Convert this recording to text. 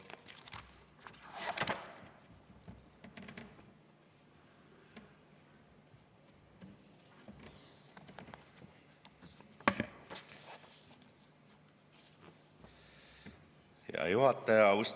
Hea juhataja!